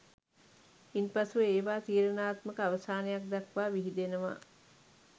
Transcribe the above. ඉන්පසුව ඒවා තීරණාත්මක අවසානයක් දක්වා විහිදෙනවා